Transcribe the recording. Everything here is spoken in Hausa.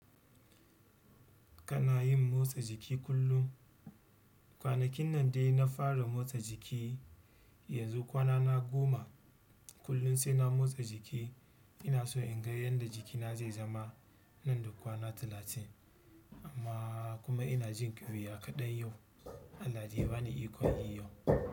Kana yin motsa jiki kullum. Kwanakin nan dai na fara motsa jiki, yanzu kwana na goma kullum sai na motsa jiki. Ina so in ga yadda jikina zai zama nan da kwana talatin amma kuma ina jin ƙyuya kaɗai yau. Allah de ya bani ikon yi yau.